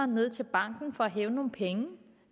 ned til banken for at hæve nogle penge